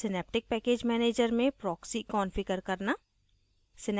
synaptic package manager में proxy configure करना